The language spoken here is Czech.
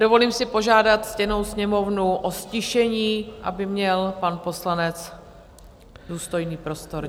Dovolím si požádat ctěnou Sněmovnu o ztišení, aby měl pan poslanec důstojný prostor.